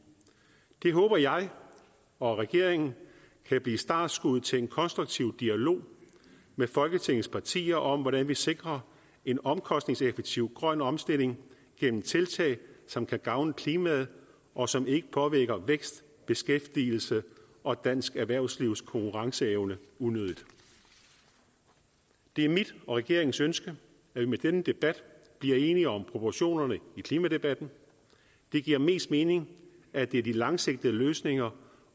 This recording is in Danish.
det håber jeg og regeringen kan blive startskuddet til en konstruktiv dialog med folketingets partier om hvordan vi sikrer en omkostningseffektiv grøn omstilling gennem tiltag som kan gavne klimaet og som ikke påvirker vækst beskæftigelse og dansk erhvervslivs konkurrenceevne unødigt det er mit og regeringens ønske at vi med denne debat bliver enige om proportionerne i klimadebatten det giver mest mening at det er de langsigtede løsninger